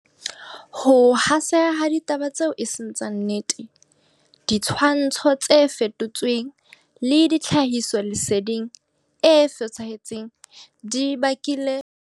Ho haseha ha ditaba tseo e seng tsa nnete, ditshwantsho tse fetotsweng le tlhahisoleseding e fosahetseng di bakile hore ho be boima ho arola dintlha tsa nnete ho tse iqapetsweng.